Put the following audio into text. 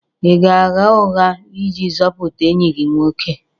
Ị ga-agha ụgha iji zọpụta enyi gị nwoke?